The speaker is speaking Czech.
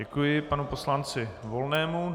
Děkuji panu poslanci Volnému.